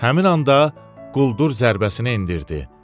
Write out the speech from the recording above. Həmin anda quldur zərbəsini endirdi.